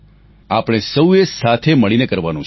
આપણે સહુએ મળીને કરવાનું છે